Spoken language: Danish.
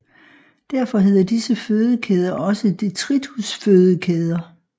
Derfor hedder disse fødekæder også detritusfødekæder